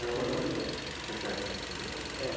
quer quer